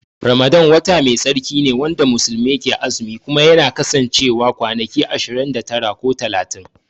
Ramadan wata Mai tsarki ne wanda muslimai ke azumi Kuma yana kasancewa kwanaki ashirin da tara ko talatin.